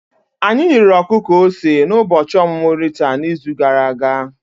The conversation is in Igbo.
Anyị riri ọkụkọ ose n'ụbọchị ọmụmụ Rita n'izu gara aga.